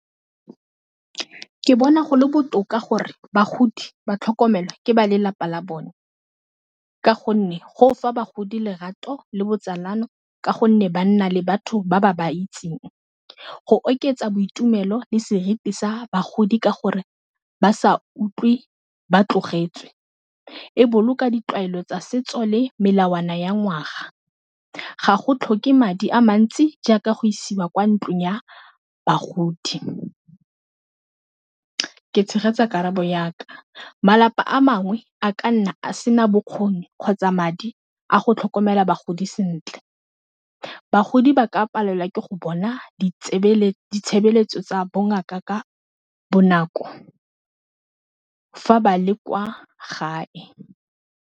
Ke bona go le botoka gore bagodi ba tlhokomelwe ke ba lelapa la bone ka gonne go fa bagodi lerato le botsalano ka gonne ba nna le batho ba ba ba itseng, go oketsa boitumelo le seriti sa bagodi ka gore ba sa utlwe ba tlogetswe, e boloka ditlwaelo tsa setso le melawana ya ngwaga ga go tlhoke madi a mantsi jaaka go isiwa kwa ntlong ya bagodi. Ke tshegetsa karabo ya ka, malapa a mangwe a ka nna a se na bokgoni kgotsa madi a go tlhokomela bagodi sentle, ba di ba ka palelwa ke go bona ditshebeletso tsa bongaka ka bonako fa ba le kwa gae.